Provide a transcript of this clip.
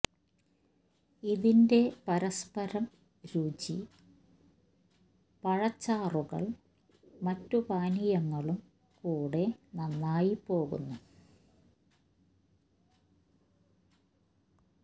ഇതിന്റെ പരസ്പരം രുചി പഴച്ചാറുകൾ മറ്റ് പാനീയങ്ങളും കൂടെ നന്നായി പോകുന്നു